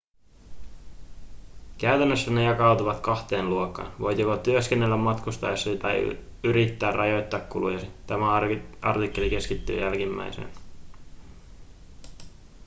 käytännössä ne jakautuvat kahteen luokkaan voit joko työskennellä matkustaessasi tai yrittää rajoittaa kulujasi tämä artikkeli keskittyy jälkimmäiseen